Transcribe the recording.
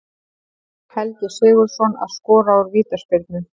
Helgi Sigurðsson að skora úr vítaspyrnu.